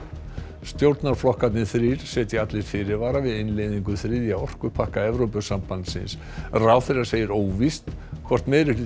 stjórnarflokkarnir þrír setja allir fyrirvara við innleiðingu þriðja orkupakka Evrópusambandsins ráðherra segir óvíst hvort